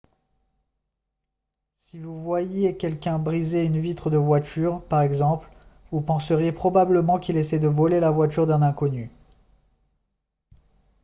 si vous voyiez quelqu'un briser une vitre de voiture par exemple vous penseriez probablement qu'il essaie de voler la voiture d'un inconnu